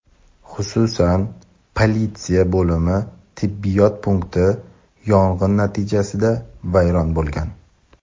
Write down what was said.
xususan politsiya bo‘limi tibbiyot punkti yong‘in natijasida vayron bo‘lgan.